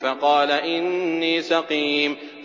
فَقَالَ إِنِّي سَقِيمٌ